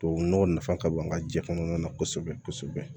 Tubabu nɔgɔ nafa ka bon an ka jɛ kɔnɔna na kosɛbɛ kosɛbɛ